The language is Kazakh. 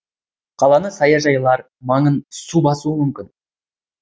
қаланы саяжайлар маңын су басуы мүмкін